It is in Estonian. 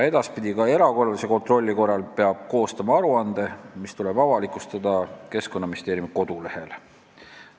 Edaspidi peab ka erakorralise kontrolli korral koostama aruande, mis tuleb avalikustada Keskkonnaministeeriumi kodulehel.